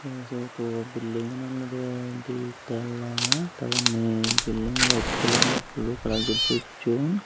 ey toto belding olodey di talla te undi belding waet kalar indi blu kalar gocchon.